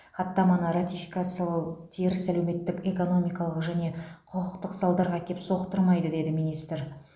хаттаманы ратификациялау теріс әлеуметтік экономикалық және құқықтық салдарға әкеп соқтырмайды деді министр